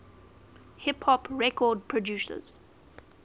hip hop record producers